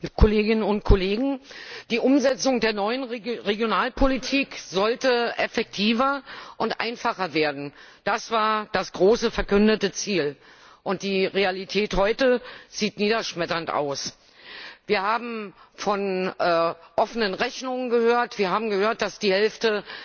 Herr Präsident, Frau Kommissarin, liebe Kolleginnen und Kollegen! Die Umsetzung der neuen Regionalpolitik sollte effektiver und einfacher werden das war das große verkündete Ziel. Die Realität heute sieht niederschmetternd aus. Wir haben von offenen Rechnungen gehört, wir haben gehört, dass die Hälfte